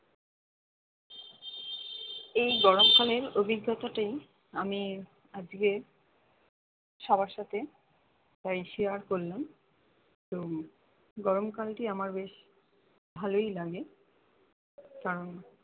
এই গরম কালের অভিজ্ঞতাটাই আমি আজকে সবার সাথে তাই share করলাম তো গরমকাল টি আমার বেশ ভালোই লাগে কারণ